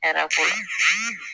hɛrɛ b'o la